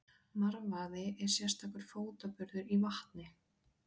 Marvaði er sérstakur fótaburður í vatni.